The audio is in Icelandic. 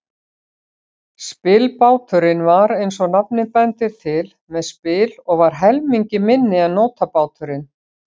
Spilbáturinn var, eins og nafnið bendir til, með spil og var helmingi minni en nótabáturinn.